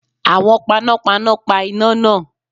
Àwọn panápaná pa iná náà.